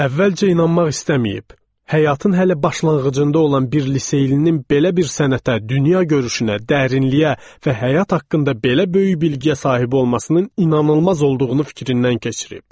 Əvvəlcə inanmaq istəməyib, həyatın hələ başlanğıcında olan bir liseylinin belə bir sənətə, dünya görüşünə, dərinliyə və həyat haqqında belə böyük bilgiyə sahib olmasının inanılmaz olduğunu fikrindən keçirib.